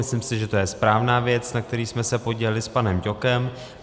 Myslím si, že je to správná věc, na které jsme se podíleli s panem Ťokem.